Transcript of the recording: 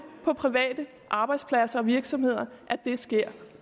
på private arbejdspladser og virksomheder det sker